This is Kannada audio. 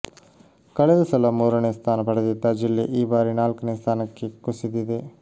ಕಳೆದ ಸಲ ಮೂರನೇ ಸ್ಥಾನ ಪಡೆದಿದ್ದ ಜಿಲ್ಲೆ ಈ ಬಾರಿ ನಾಲ್ಕನೇ ಸ್ಥಾನಕ್ಕೆ ಕುಸಿದಿದೆ